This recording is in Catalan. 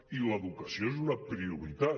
i l’educació és una prioritat